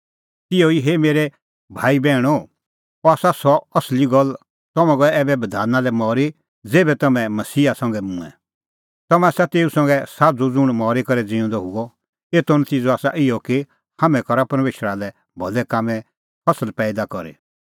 तिहअ ई हे मेरै भाई बैहणीओ अह आसा सह असली गल्ल तम्हैं गऐ ऐबै बधाना लै मरी ज़ेभै तम्हैं मसीहा संघै मूंऐं तम्हैं आसा तेऊ संघै साझ़ू ज़ुंण मरी करै ज़िऊंदअ हुअ एतो नतिज़अ आसा इहअ कि हाम्हैं सका परमेशरा लै भलै कामें फसल पैईदा करी